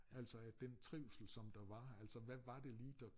Altså at den trivsel som der var altså hvad var det lige der